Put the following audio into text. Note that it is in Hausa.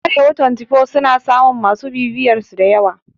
Arewa twantifo suna samun masu bibiyarsu dayawa